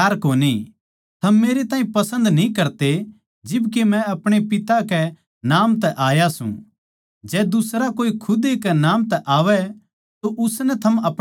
थम मेरे ताहीं पसन्द न्ही करते जिब के मै अपणे पिता कै नाम तै आया सूं जै दुसरा कोए खुदे नाम तै आवै तो उसनै थम अपणा लोगे